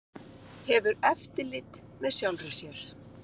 Hefur eftirlit með sjálfri sér